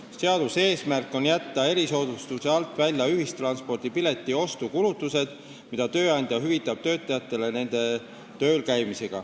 Seaduse eesmärk on jätta erisoodustuse alt välja ühissõiduki pileti ostu kulutused, mida tööandja hüvitab töötajatele nende töölkäimisel.